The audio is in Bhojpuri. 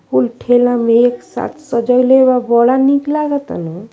कुल ठेला में एक साथ सजवले बा। बड़ा नीक लागता नू।